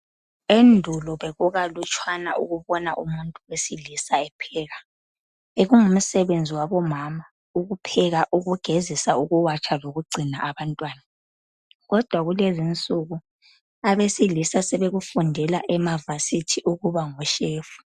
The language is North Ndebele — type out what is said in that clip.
Endulo bekukalutshwana ukubona umuntu wesilisa epheka bekungumsebenzi wabomam, ukupheka , ukugezisa, ukuwatsha lokugcina abantwana. Kodwa kulezi insuku abeselisa sebekufundela amvasithi ukuba ngoshefu.